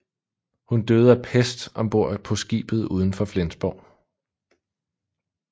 Hun døde af pest om bord på skibet ud for Flensborg